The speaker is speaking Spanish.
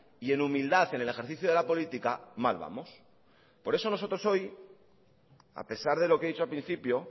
y en humildad en el ejercicio de la política mal vamos por eso nosotros hoy a pesar de lo que he dicho al principio